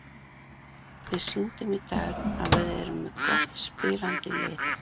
Við sýndum í dag að við erum með gott spilandi lið.